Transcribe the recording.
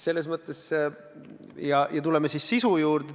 Aga tuleme siis sisu juurde.